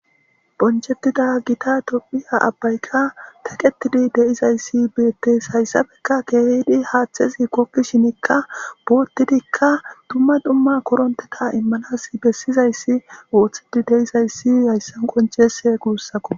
Bonchchetida gita tophphiya aabbaykka kaqettidii de'izayssi beetes hayssappekka keehidi haaththezi googishinikka boottidikka dumma dumma koorontette iimmanas bessizayssi ooththetidii de'izayssi hayssan qonccidii beetes guussakko